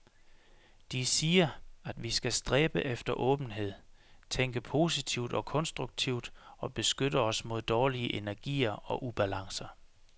De siger, at vi skal stræbe efter åbenhed, tænke positivt og konstruktivt og beskytte os mod dårlige energier og ubalancer.